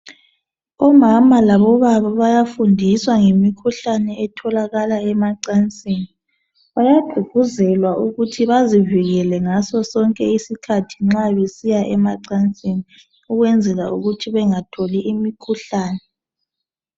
Omama labobaba bayafundiswa ngemikhuhlane etholakala emacansini bayagququzelwa ukuthi bezivikele ngaso sonke isikhathi nxa besiya emacansini ukwenzela ukuthi bengatholi imikhuhlane.